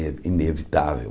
É inevitável.